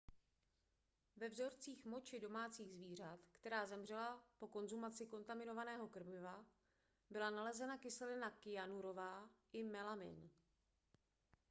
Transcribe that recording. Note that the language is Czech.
ve vzorcích moči domácích zvířat která zemřela po konzumaci kontaminovaného krmiva byla nalezena kyselina kyanurová i melamin